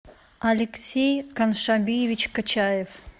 алексей каншабиевич качаев